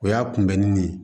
O y'a kunbɛnni ye